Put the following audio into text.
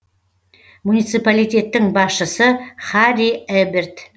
муниципалитеттің басшысы харри эберт